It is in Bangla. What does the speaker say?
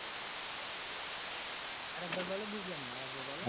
আরেকবার বলো বুঝলাম না আর একবার বল